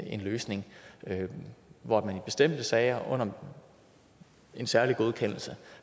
en løsning hvor man i bestemte sager under en særlig godkendelse